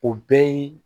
O bɛɛ ye